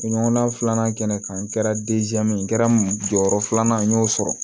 Ɲɔgɔnna filanan kɛnɛ kan n kɛra n kɛra jɔyɔrɔ filanan ye n y'o sɔrɔ